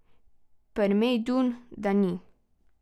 Prmejdun, da ni.